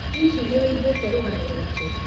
Hihi nĩ ũiguĩte waigua rũgano rwake?